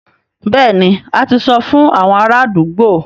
Bẹ́ẹ̀ni, a ti sọ fún àwọn ará àdúgbò